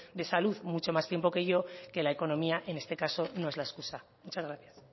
de salud mucho más tiempo que yo que la economía en este caso no es la excusa muchas gracias